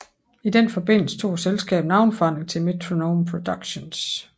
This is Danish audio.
I den forbindelse tog selskabet navneforandring til Metronome Productions